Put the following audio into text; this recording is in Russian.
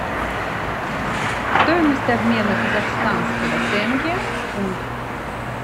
стоимость обмена казахстанского тенге в фунт